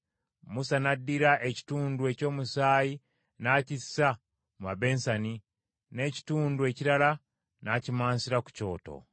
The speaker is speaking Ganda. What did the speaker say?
Musa n’addira ekitundu ky’omusaayi n’akissa mu mabeseni, n’ekitundu ekirala n’akimansira ku kyoto.